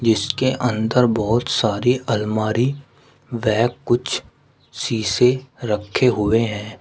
इसके अंदर बहुत सारी अलमारी वह कुछ शीशे रखे हुए हैं।